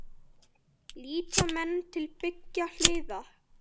Líta menn til beggja hliða?